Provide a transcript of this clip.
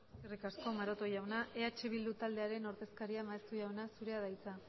eskerrik asko maroto jauna eh bildu taldearen ordezkaria maeztu jauna zurea da hitza